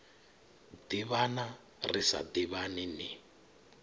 ḓivhana ri sa ḓivhani ni